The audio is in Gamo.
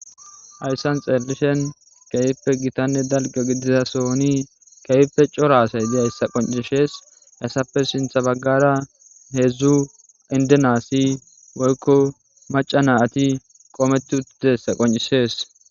Hayssan xeelishin keehippe gitanne dalgga gidida sohoni keehippe cora asay diyayssa qoccisees. Hayssappe sinththa baggara heezzu indena asi woykko macca naati qoometi uttidayssa qonccisees.